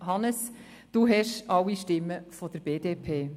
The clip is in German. Hannes Zaugg, Sie haben alle Stimmen der BDP.